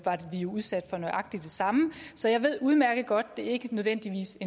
jo udsat for nøjagtig det samme så jeg ved udmærket godt at det ikke nødvendigvis